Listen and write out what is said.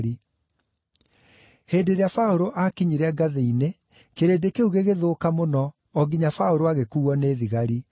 Hĩndĩ ĩrĩa Paũlũ aakinyire ngathĩ-inĩ kĩrĩndĩ kĩu gĩgĩthũka mũno o nginya Paũlũ agĩkuuo nĩ thigari.